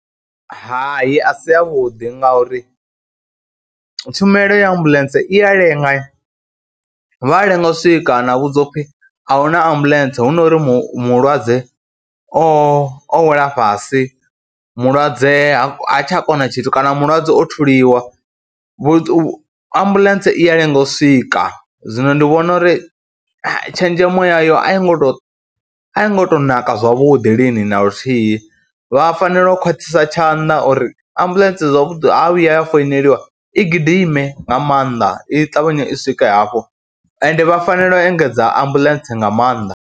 Hai a si avhuḓi ngauri tshumelo ya ambuḽentse i ya lenga, vha a lenga u swika na vhudziwa u pfhi a hu na ambuḽentse hu no ri mu mulwadze o wela fhasi, mulwadze ha ha tsha kona tshithu kana mulwadze o thuliwa. Vhu ambuḽentse i ya lenga u swika, zwino ndi vhona uri tshenzhemo yayo a i ngo tou, a i ngo tou naka zwavhuḓi lini na luthihi. Vha fanela u khwaṱhisa tshanḓa uri ambuḽentse zwavhuḓi ha vhuya ya founeliwa, i gidime nga maanḓa, i ṱavhanye i swike hafho ende vha fanela u engedza ambuḽentse nga maanḓa.